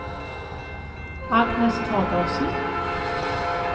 Agnes Torgersen